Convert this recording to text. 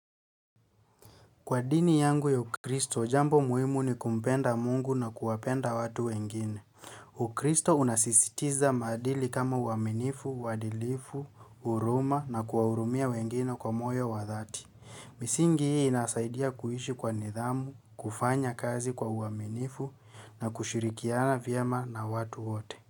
Kwa dini yangu ya ukristo, jambo muhimu ni kumpenda Mungu na kuwapenda watu wengine. Ukristo unasisitiza maadili kama uaminifu, uadilifu, uruma na kuwaurumia wengine kwa moyo wa dhati. Misingi hii inasaidia kuishi kwa nidhamu, kufanya kazi kwa uaminifu na kushirikiana vyema na watu hote.